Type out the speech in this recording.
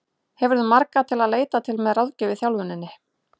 Hefurðu marga til að leita til með ráðgjöf í þjálfuninni?